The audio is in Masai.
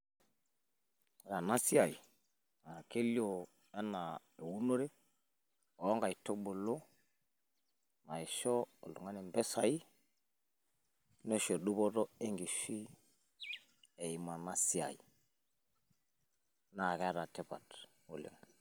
Ore ena siiai naa kelio enaa eunore oonkaitubulu naisho oltung'ani impisai neisho duputo enkishui eimu ena siaai naa keeta tipat oleng.